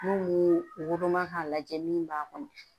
N'u woloma ka lajɛ min b'a kɔnɔ